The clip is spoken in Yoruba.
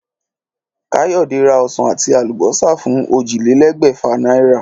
Káyòdé ra osàn àti àlùbósà fún ójìlélégbèfà náírà